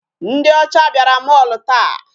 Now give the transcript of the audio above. Ndị ọcha bịara mall taa.